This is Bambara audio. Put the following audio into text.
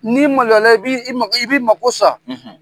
N'i maloyala i b'i mako sa.